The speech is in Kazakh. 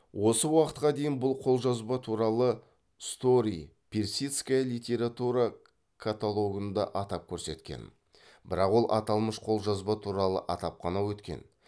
осы уақытқа дейін бұл қолжазба туралы стори персидская литература каталогында атап көрсеткен бірақ ол аталмыш қолжазба туралы атап қана өткен